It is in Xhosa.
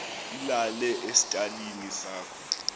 ilale esitalini sakho